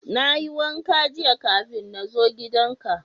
Na yi wanka jiya kafin na zo gidan ka.